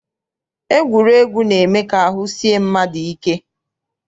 Egwuregwu na-eme ka ahụ sie mmadụ ike.